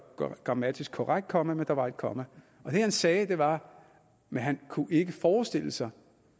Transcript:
grammatisk korrekt komma men der var et komma og det han sagde var men han kunne ikke forestille sig